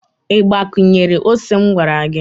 i gbakwunyere ose m gwara gi?